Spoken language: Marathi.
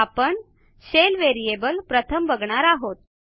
आपण शेल व्हेरिएबल प्रथम बघणार आहोत